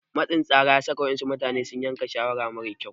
Matsin tsara ya saka waɗansu mutane su yanke shawara mara kyau.